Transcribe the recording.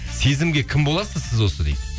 сезімге кім боласыз сіз осы дейді